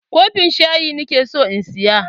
Kofin shayi nake so in saya.